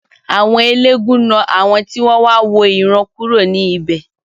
Àwọn eléégún náà àwọn tí wọ́n wà wo ìran kúrò ní ibè.